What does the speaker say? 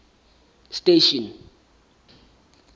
station